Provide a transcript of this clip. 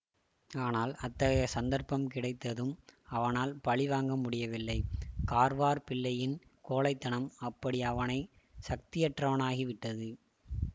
ஆனால் அத்தகைய சந்தர்ப்பம் கிடைத்ததும் அவனால் பழி வாங்கமுடியவில்லை கார்வார் பிள்ளையின் கோழைத்தனம் அப்படி அவனை சக்தியற்றவனாகி விட்டது